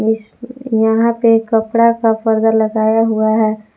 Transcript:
यहां पे कपड़ा का परदा लगाया हुआ है।